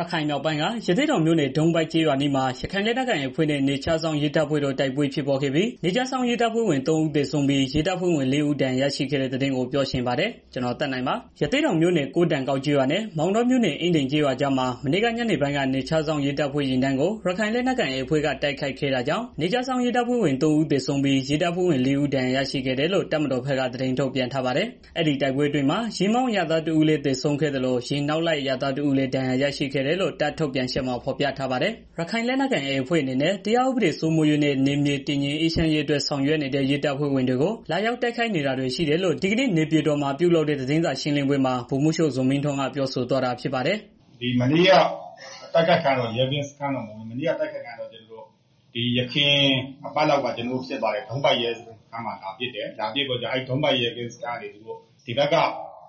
ရခိုင်မြောက်ပိုင်းက ရသေ့တောင်မြို့နယ် ဒုံးပိုက်ကျေးရွာအနီးမှာ ရခိုင်လက်နက်ကိုင် AA အဖွဲ့နဲ့ နယ်ခြားစောင့် ရဲတပ်ဖွဲ့တို့ တိုက်ပွဲဖြစ်ပွားခဲ့ပြီး နယ်ခြားစောင့် ရဲတပ်ဖွဲ့ဝင် သုံး ဦး သေဆုံးပြီး ရဲတပ်ဖွဲ့ဝင် လေး ဦး ဒဏ်ရာရရှိခဲ့တဲ့ သတင်းကို ဗွီအိုအေမြန်မာပိုင်းသတင်းထောက် ကိုသက်နိုင်က ပြောပြပေးပါမယ်။ ရသေ့တောင်မြို့နယ် ကိုးတန်ကောက်ကျေးရွာနဲ့ မောင်တောမြို့နယ် အင်းဒင်ကျေးရွာကြားမှာ မနေ့က ညနေပိုင်းက နယ်ခြားစောင့်ရဲတပ်ဖွဲ့ယာဉ်တန်းကို ရခိုင်လက်နက်ကိုင် AAအဖွဲ့က တိုက်ခိုက်ခဲ့တာကြောင့် နယ်ခြားစောင့် ရဲတပ်ဖွဲ့ဝင် သုံး ဦး သေဆုံးပြီး ရဲတပ်ဖွဲ့ဝင် လေး ဦး ဒဏ်ရာရရှိခဲ့တယ်လို့ တပ်မတော်ဘက်က သတင်းထုတ်ပြန်ထားပါတယ်။ အဲဒီတိုက်ပွဲအတွင်းမှာ ယာဉ်မောင်းအရပ်သား တစ်ဦးလည်း သေဆုံးခဲ့သလို ယာဉ်နောက်လိုက် အရပ်သား တစ်ဦးလည်း ဒဏ်ရာရရှိခဲ့တယ်လို့ တပ်ထုတ်ပြန်ချက်မှာ ဖော်ပြထားပါတယ်။ ရခိုင်လက်နက်ကိုင် AA အဖွဲ့အနေနဲ့ တရားဥပဒေစိုးမိုးရေးနဲ့ နည်မြေတည်ငြိမ်အေးချမ်းရေး ဆောင်ရွက်နေတဲ့ ရဲတပ်ဖွဲ့ဝင်တွေကို လာရောက်တိုက်နေတာတွေ ရှိတယ်လို့ ဒီကနေ့ နေပြည်တော်မှာ ပြုလုပ်တဲ့ သတင်းစာရှင်းလင်းပွဲမှာ ဗိုလ်မှူးချုပ် ဇော်မင်းထွန်းက ပြောဆိုသွားတာဖြစ်ပါတယ်။ "မနေ့က တိုက်ခိုက်ခံရတာက ယခင်အပတ်လောက်က ဖြစ်ပွားသွားတဲ့ ဒုံးပိုက်ရဲစခန်းအနားမှာ လာပစ်တယ်။ ဒုံးပိုက်ရဲစခန်းကနေ ကျနော်တို့ ဒီဘက် မြ